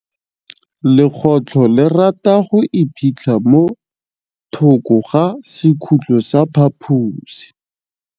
Legôtlô le rata go iphitlha mo thokô ga sekhutlo sa phaposi.